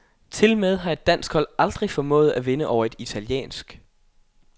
Tilmed har et dansk hold aldrig formået at vinde over et italiensk.